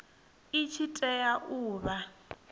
i tshi tea u vha